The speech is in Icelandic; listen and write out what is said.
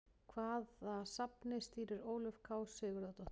Hvaða safni stýrir Ólöf K Sigurðardóttir?